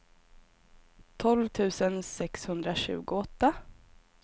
tolv tusen sexhundratjugoåtta